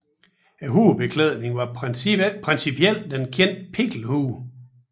Hovedbeklædningen var principielt den kendte pikkelhue